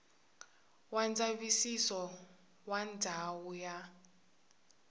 wa ndzavisiso wa ndhawu ya